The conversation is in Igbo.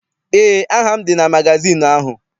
Eé, aha m dị na magazịịnụ ahụ.